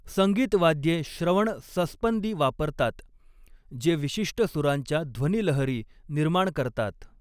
संगीत वाद्ये श्रवण संस्पंदी वापरतात जे विशिष्ट सुरांच्या ध्वनी लहरी निर्माण करतात.